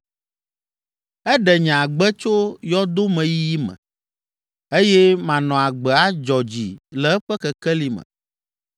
Eɖe nye agbe tso yɔdomeyiyi me, eye manɔ agbe adzɔ dzi le eƒe kekeli me.’